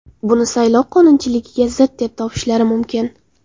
Buni saylov qonunchiligiga zid deb topishlari mumkin.